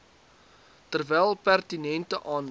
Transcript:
terwyl pertinente aandag